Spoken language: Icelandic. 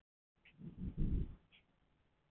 Ætlum að vinna þessa deild